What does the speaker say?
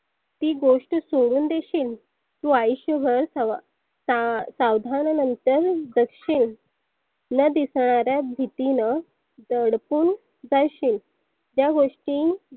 ती गोष्ट सोडुन देशील? तु आयुष्यभर सवा स सावधान नंतर जगशील. न दिसणाऱ्या भितीनं दडपुन जाशील त्या गोष्टी